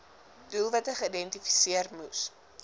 doelwitte geïdentifiseer moes